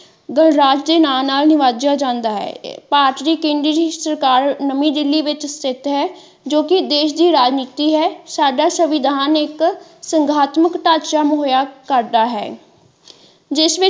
ਗਣਰਾਜ ਦੇ ਨਾ ਨਾਲ ਨਵਾਜਿਆ ਜਾਂਦਾ ਹੈ ਭਾਰਤ ਦੀ ਕੇਂਦਰੀ ਸਰਕਾਰ ਨਵੀ ਦਿੱਲੀ ਵਿੱਚ ਸਥਿਤ ਹੈ ਜੋ ਕਿ ਦੇਸ਼ ਦੀ ਰਾਜਨਿਤੀ ਹੈ ਸਾਡਾ ਸੰਵਿਧਾਨ ਇਕ ਸੰਘਾਤਮਕ ਢਾਂਚਾ ਮੁਹਈਆ ਕਰਦਾ ਹੈ ਜਿਸ ਵਿੱਚ।